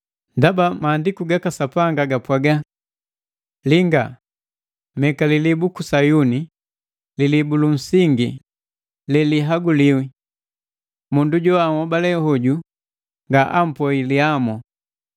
Ndaba Maandiku gaka Sapanga gapwaga: “Linga! Meka lilibu luku Sayuni, lilibu lu nsingi, lelihaguliwi. Mundu joanhobale hoju nga bampoi lihamo.”